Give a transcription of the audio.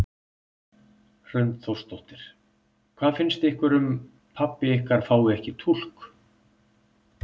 Hrund Þórsdóttir: Hvað finnst ykkur um pabbi ykkar fái ekki túlk?